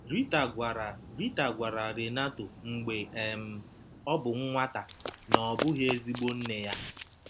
Rita gwara Rita gwara Renato mgbe um ọ bụ nwata na ọ bụghị ezigbo nne ya.